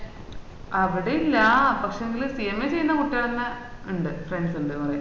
അവട ഇല്ലാ പക്ഷേങ്കിൽ cma ചെയ്യന്ന കുട്ടികള് തന്നെ ഇണ്ട് friends ഇണ്ട് കൊറേ